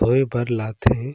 धोए बर लाथे ।